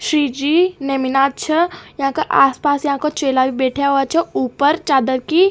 श्रीजी नेमिनाछह यहाँ आसपास यहका चेला भी बैठे हुअच ऊपर चादर की --